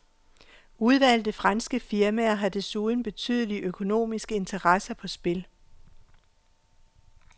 Udvalgte franske firmaer har desuden betydelige økonomiske interesser på spil.